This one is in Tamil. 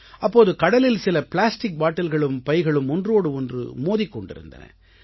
அப்போது கடலில் சில ப்ளாஸ்டிக் பாட்டில்களும் பைகளும் ஒன்றோடு ஒன்று மோதிக் கொண்டிருந்தன